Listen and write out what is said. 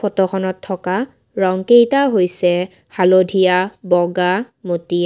ফটোখনত থকা ৰঙকেইটা হৈছে হালধীয়া বগা মটিয়া।